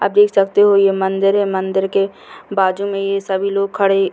आप देख सकते हो ये मंदिर है मंदिर के बाजू में ये सभी लोग खड़े --